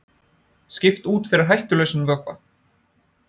Skipt út fyrir hættulausan vökva